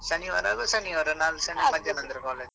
ಶನಿವಾರ ಆಗುದಾದ್ರೆ ಶನಿವಾರ ನಾಲ್ದು ಶನಿವಾರ ಮಧ್ಯಾನ್ ನಂತ್ರ college .